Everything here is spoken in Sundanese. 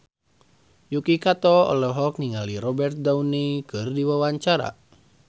Yuki Kato olohok ningali Robert Downey keur diwawancara